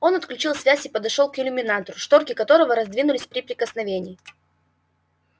он отключил связь и подошёл к иллюминатору шторки которого раздвинулись при прикосновении